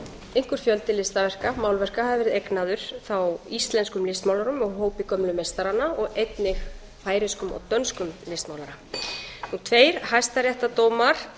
einhver fjöldi listaverka málverka hafi verið eignaður þá íslenskum listmálurum úr hópi gömlu meistaranna og einnig færeyskum og dönskum listmálurum tveir hæstaréttardómar